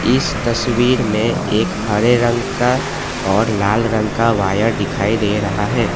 इस तस्वीर में एक हरे रंग का और लाल रंग का वायर दिखाई दे रहा है।